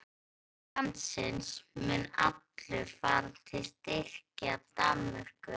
Auður landsins mun allur fara til að styrkja Danmörku.